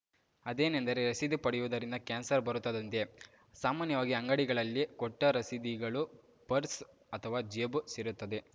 ಅದೇನೆಂದರೆ ರಸೀದಿ ಪಡೆಯುವುದರಿಂದ ಕ್ಯಾನ್ಸರ್‌ ಬರುತ್ತದಂತೆ ಸಾಮಾನ್ಯವಾಗಿ ಅಂಗಡಿಗಳಲ್ಲಿ ಕೊಟ್ಟರಸೀದಿಗಳು ಪರ್ಸ್‌ ಅಥವಾ ಜೇಬು ಸೇರುತ್ತದೆ